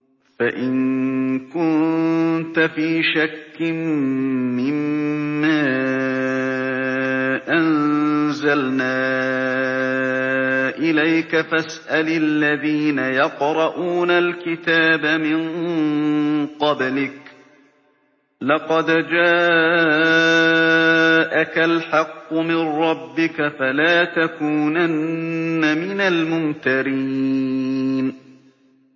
فَإِن كُنتَ فِي شَكٍّ مِّمَّا أَنزَلْنَا إِلَيْكَ فَاسْأَلِ الَّذِينَ يَقْرَءُونَ الْكِتَابَ مِن قَبْلِكَ ۚ لَقَدْ جَاءَكَ الْحَقُّ مِن رَّبِّكَ فَلَا تَكُونَنَّ مِنَ الْمُمْتَرِينَ